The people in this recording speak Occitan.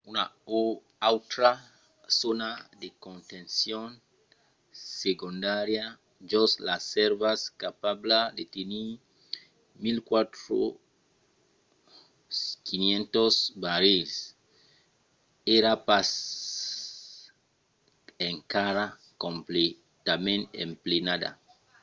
una autra zòna de contencion segondària jos las sèrvas capabla de tenir 104.500 barrils èra pas encara completament emplenada